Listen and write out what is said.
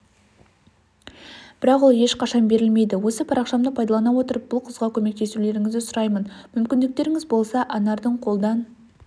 бірақ ол ешқашан берілмейді осы парақшамды пайдалана отырып бұл қызға көмеутесулеріңізді сұраймын мүмкіндіктеріңіз болса анардыңқолдан